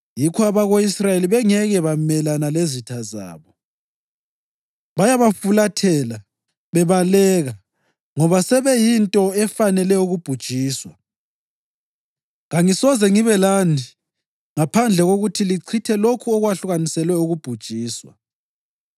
Yikho abako-Israyeli bengeke bamelana lezitha zabo; bayabafulathela bebaleka ngoba sebeyinto efanele ukubhujiswa. Kangisoze ngibe lani ngaphandle kokuthi lichithe lokho okwakwehlukaniselwe ukubhujiswa.